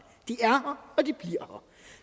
de er her og de her